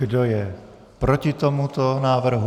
Kdo je proti tomuto návrhu?